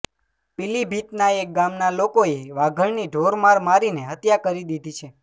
પીલીભીતના એક ગામના લોકોએ વાઘણની ઢોર માર મારીને હત્યા કરી દીધી છે